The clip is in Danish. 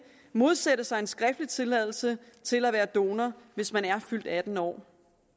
modsætte sig en skriftlig tilladelse til at være donor hvis man er fyldt atten år